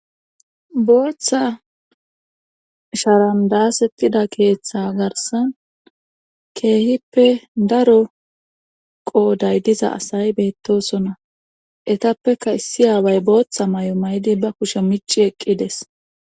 Booththa sharandasetida keeththa garsan keehippe daro qooday diza asay beettosona etappeka issi aaway booththa may7o may7di ba kushe micci eqqides.